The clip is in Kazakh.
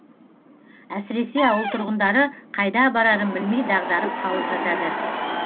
әсіресе ауыл тұрғындары қайда барарын білмей дағдарып қалып жатады